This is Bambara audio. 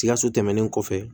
Sikaso tɛmɛnen kɔfɛ